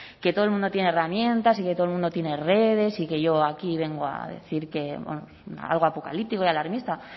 que todo el mundo tiene herramientas y que todo el mundo tiene redes y que yo aquí vengo a decir que algo apocalíptico y alarmista